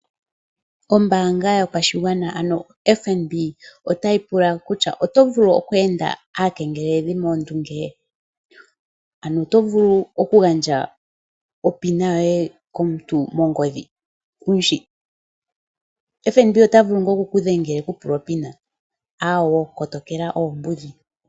Ombaanga yopashigwana ano FNB ota yi pula kutya, oto vulu oku enda aakengeleledhi moondunge? Ano oto vulu okugandja opina yoye komuntu mongodhi kuumushi? FNB ota vulu ngaa oku kudhengela eku pule o pin? Aawo kotokela oombudhi.